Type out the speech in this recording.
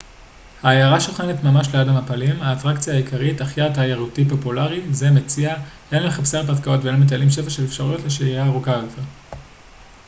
העיירה שוכנת ממש ליד המפלים האטרקציה העיקרית אך יעד תיירותי פופולרי זה מציע הן למחפשי הרפתקאות והן למטיילים שפע של אפשרויות לשהייה ארוכה יותר